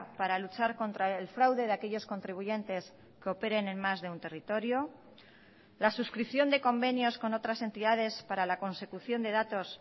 para luchar contra el fraude de aquellos contribuyentes que operen en más de un territorio la suscripción de convenios con otras entidades para la consecución de datos